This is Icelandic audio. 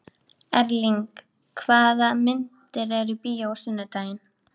Erling, hvaða myndir eru í bíó á sunnudaginn?